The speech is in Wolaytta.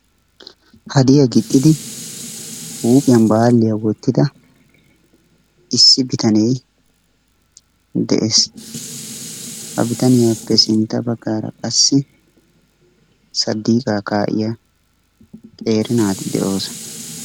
Haddiya gixxidi huuphiyan baaliya wotidda issi bitane dees. Ha bitanniyappe sintta bagaara qassi sadiiqaa kaa'iya qeeri naati de'oosona.